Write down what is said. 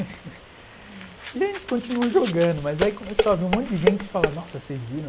E aí a gente continua jogando, mas aí começou a vir um monte de gente e falar, nossa, vocês viram?